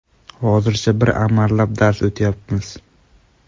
Hozircha bir amallab dars o‘tyapmiz.